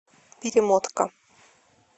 перемотка